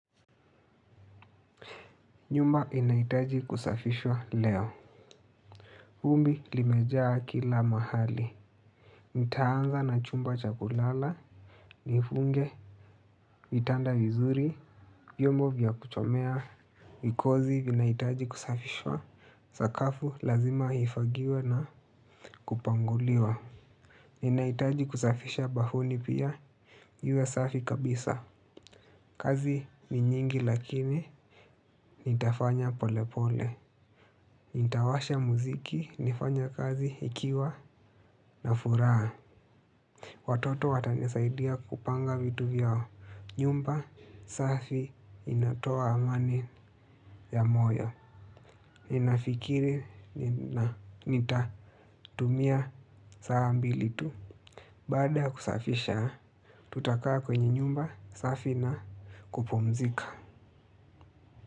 Nyumba inahitaji kusafishwa leo vumbi limejaa kila mahali. Nitaanza na chumba chakulala nifunge vitanda vizuri vyombo vya kuchomea vikozi vinahitaji kusafishwa sakafu lazima ifagiwe na kupanguliwa ninahitaji kusafisha bafuni pia. Iwe safi kabisa. Kazi ni nyingi lakini nitafanya pole pole. Nitawasha muziki, nifanye kazi ikiwa na furaha. Watoto watanisaidia kupanga vitu vyao. Nyumba, safi, inatoa amani ya moyo. Ninafikiri na nita tumia saa mbilitu. Baadaya kusafisha, tutakaa kwenye nyumba, safi na kupumzika.